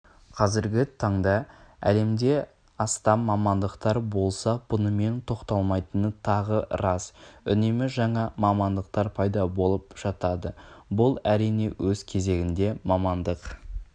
қазіргі таңда әлемде астам мамандықтар болса бұнымен тоқталмайтыны тағы рас үнемі жаңа мамандықтар пайда болып жатады бұл әрине өз кезегінде мамандық